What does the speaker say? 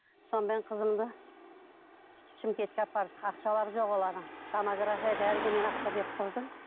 сонымен қызымды шымкентке апарып ақшалары жоқ олардың томографияға бәріне мен ақша беріп тұрдым